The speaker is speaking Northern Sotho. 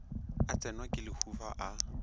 a tsenwa ke lehufa a